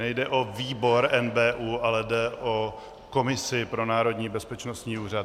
Nejde o výbor NBÚ, ale jde o komisi pro Národní bezpečnostní úřad.